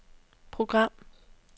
program